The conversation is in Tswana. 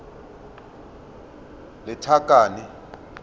lethakane